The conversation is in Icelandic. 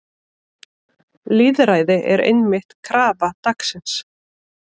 Lýðræði er einmitt krafa dagsins.